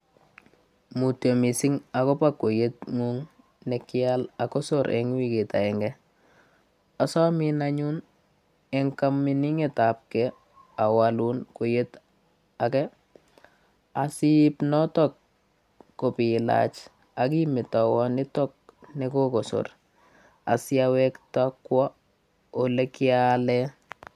Mutya mising agoba kweiyetngung ne kial ak kosor eng wigit agenge. Asomin anyun en kaminginetab ke awalun kweiyet age asiip notok kobilach akimetawon nitok nekokosor, asiawekta kwo ole kiale.